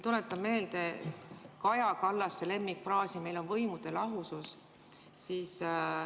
Tuletan meelde Kaja Kallase lemmikfraasi, et meil on võimude lahusus.